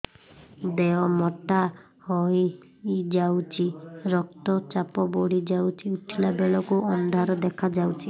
ଦେହ ମୋଟା ହେଇଯାଉଛି ରକ୍ତ ଚାପ ବଢ଼ି ଯାଉଛି ଉଠିଲା ବେଳକୁ ଅନ୍ଧାର ଦେଖା ଯାଉଛି